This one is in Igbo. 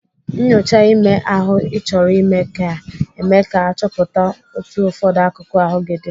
Nnyocha ime ahụ Ị chọrọ ime ka eme ka achọpụta otu ụfọdụ akụkụ ahụ gị dị.